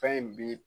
Fɛn in bi